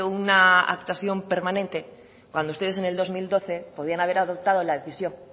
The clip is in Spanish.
una actuación permanente cuando ustedes en el dos mil doce podían haber adoptado la decisión